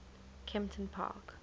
kemptonpark